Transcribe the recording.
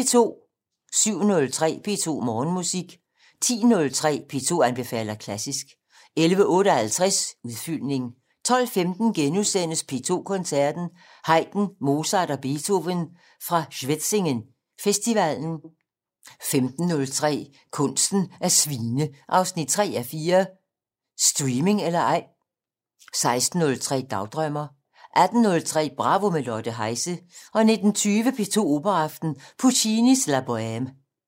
07:03: P2 Morgenmusik 10:03: P2 anbefaler klassisk 11:58: Udfyldning 12:15: P2 Koncerten - Haydn, Mozart og Beethoven fra Schwetzingen festivalen * 15:03: Kunsten at svine 3:4 - Streaming eller ej? 16:03: Dagdrømmer 18:03: Bravo - med Lotte Heise 19:20: P2 Operaaften - Puccini: La Boheme